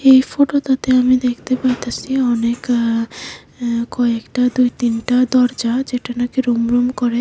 এই ফোটোটাতে আমি দেখতে পাইতাসি অনেক আ আ কয়েকটা দুই তিনটা দরজা যেটা নাকি রুম রুম করে--